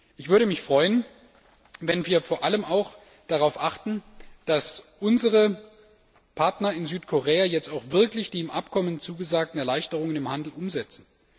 Ich würde mich freuen, wenn wir vor allem auch darauf achten, dass unsere Partner in Südkorea jetzt auch wirklich die im Abkommen zugesagten Erleichterungen im Handel umsetzen.